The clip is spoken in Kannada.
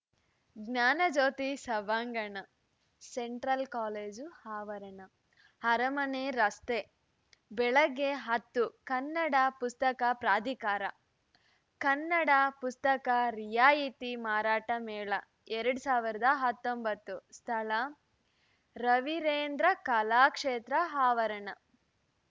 ಜ್ಞಾನಜ್ಯೋತಿ ಸಭಾಂಗಣ ಸೆಂಟ್ರಲ್‌ ಕಾಲೇಜು ಆವರಣ ಅರಮನೆ ರಸ್ತೆ ಬೆಳಗ್ಗೆ ಹತ್ತು ಕನ್ನಡ ಪುಸ್ತಕ ಪ್ರಾಧಿಕಾರ ಕನ್ನಡ ಪುಸ್ತಕ ರಿಯಾಯಿತಿ ಮಾರಾಟ ಮೇಳ ಎರಡ್ ಸಾವಿರದ ಹತ್ತೊಂಬತ್ತು ಸ್ಥಳ ರವಿರೇಂದ್ರ ಕಲಾಕ್ಷೇತ್ರದ ಆವರಣ